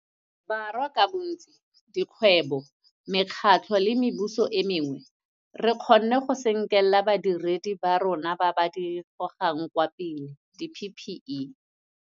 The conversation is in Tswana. Borwa ka bontsi, dikgwebo, mekgatlho le mebuso e mengwe, re kgonne go senkela badiredi ba rona ba ba di gogang kwa pele di-PPE.